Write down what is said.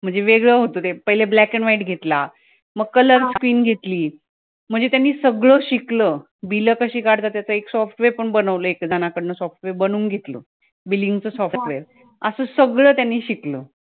म्हणजे वेगळं होतं ते पहिले black and white घेतला मग color screen घेतली म्हणजे त्यांनी सगळं शिकलं bill कशी काढतात त्याचं software पण बनवलं एक जणाकडून software बनवून घेतलं billing चं software असं सगळं त्यांनी शिकलं